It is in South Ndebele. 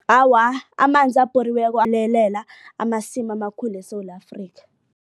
Awa, amanzi abhoriweko amasimu amakhulu eSewula Afrika.